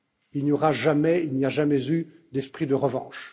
Il n'y aura jamais et il n'y a jamais eu d'esprit de revanche.